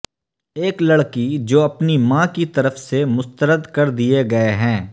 ایک لڑکی جو اپنی ماں کی طرف سے مسترد کردیے گئے ہیں